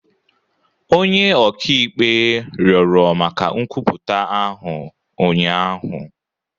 Onye ọka ikpe rịọrọ maka nkwupụta ahụ ụnyaahụ